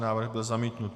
Návrh byl zamítnut.